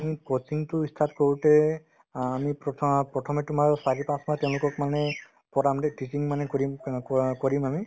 আমি coaching তো ই start কৰোতে অ আমি প্ৰথ~ প্ৰথমে তোমাৰ চাৰি পাঁচ মাহ তেওঁলোকক মানে পঢ়াম দে teaching মানে কৰিম অ কৰা~ কৰিম আমি